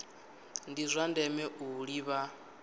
ndi zwa ndeme u ḓivha